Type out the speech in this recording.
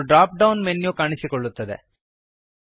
ಒಂದು drop down menu ಕಾಣಿಸಿಕೊಳ್ಳುತ್ತದೆ